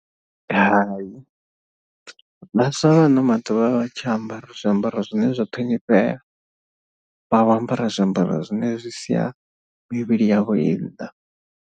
Hai, vhaswa vha ano maḓuvha a vha tsha ambara zwiambaro zwine zwa ṱhonifhea vha vho ambara zwiambaro zwine zwi sia mivhili yavho i nnḓa.